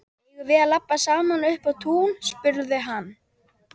Eigum við að labba saman upp á tún? spurði hann.